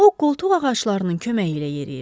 O, qoltuq ağaclarının köməyi ilə yeriyirdi.